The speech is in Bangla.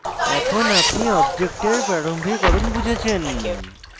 এখন আপনি object প্রারম্ভিকরণ বুঝেছেন